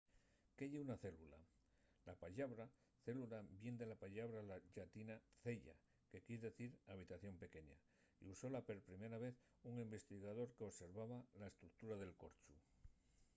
¿qué ye una célula? la pallabra célula vien de la pallabra llatina cella” que quier dicir habitación pequeña” y usóla per primer vez un investigador qu’observaba la estructura del corchu